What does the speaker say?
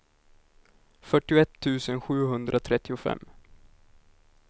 fyrtioett tusen sjuhundratrettiofem